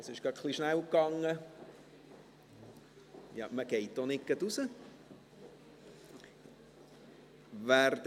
Es ging etwas schnell, aber man geht auch nicht gleich raus.